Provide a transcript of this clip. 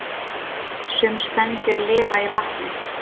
Sum spendýr lifa í vatni